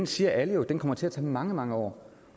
siger alle jo kommer til at tage mange mange år